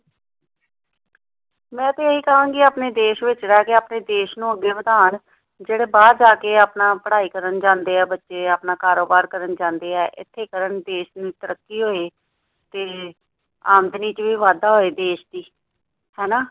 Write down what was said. ਮੈਂ ਤੇ ਇਹੀ ਕਹਾਂਗੀ ਕਿ ਆਪਣੇ ਦੇਸ਼ ਵਿੱਚ ਰਹਿ ਕੇ ਆਪਣੇ ਦੇਸ਼ ਨੂੰ ਅੱਗੇ ਵਧਾਣ। ਜਿਹੜੇ ਬਾਹਰ ਜਾ ਕੇ ਆਪਣਾ ਪੜ੍ਹਾਈ ਕਰਨ ਜਾਂਦੇ ਆ ਬੱਚੇ ਆਪਣਾ ਕਾਰੋਬਾਰ ਕਰਨ ਜਾਂਦੇ ਆ ਏਥੇ ਕਰਨ ਦੇਸ਼ ਨੂੰ ਤਰੱਕੀ ਹੋਏ ਤੇ ਆਮਦਨੀ ਵਿੱਚ ਵੀ ਵਾਧਾ ਹੋਏ ਦੇਸ਼ ਦੀ ਹੈ ਨਾ।